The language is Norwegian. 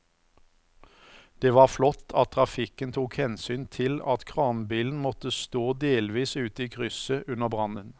Det var flott at trafikken tok hensyn til at kranbilen måtte stå delvis ute i krysset under brannen.